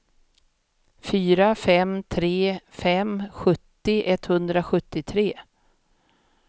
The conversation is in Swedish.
fyra fem tre fem sjuttio etthundrasjuttiotre